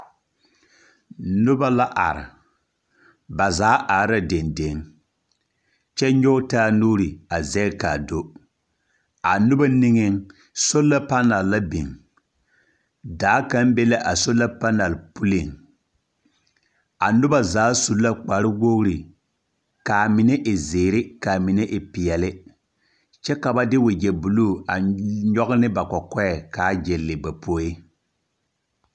Noba la are. ba zaa are la dendeŋ, kyԑ nyͻge taa nuuri a zԑge ka a do. A noba niŋeŋ, sola panaal la biŋ. Daa kaŋ be la a soola panaal puliŋ. A noba zaa su la kpare wogiri, ka a mine zeere ka a mine e peԑle kyԑ ka ba de wagyԑ buluu a nyͻge ne ba kͻkͻԑ ka a gyelle ba poe.